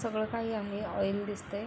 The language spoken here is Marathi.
सगळ काही आहे ऑइल दिसतंय.